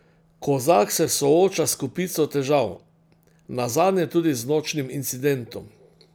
Kozak se sooča s kopico težav, nazadnje tudi z nočnim incidentom.